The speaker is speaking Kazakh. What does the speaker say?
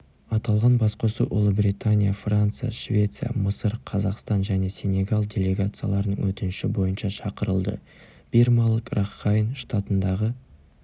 аталған басқосу ұлыбритания франция швеция мысыр қазақстан және сенегал делегацияларының өтініші бойынша шақырылды бирмалық ракхайн штатындағы